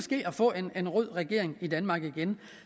få en rød regering i danmark igen